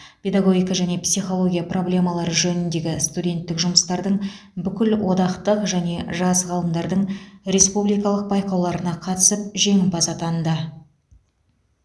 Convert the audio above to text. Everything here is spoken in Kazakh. педагогика және психология проблемалары жөніндегі студенттік жұмыстардың бүкілодақтық және жас ғалымдардың республикалық байқауларына қатысып жеңімпаз атанды